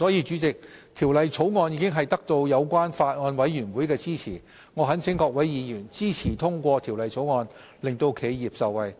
主席，《條例草案》已得到相關法案委員會的支持，我懇請各位議員支持通過《條例草案》，令企業受惠。